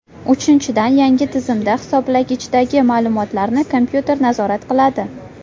Uchinchidan, yangi tizimda hisoblagichdagi ma’lumotlarni kompyuter nazorat qiladi.